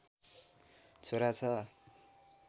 छोरा छ